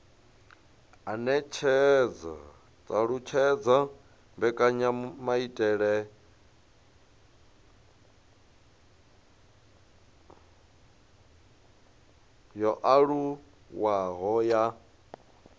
alutshedza mbekanyamaitele yo anavhuwaho ya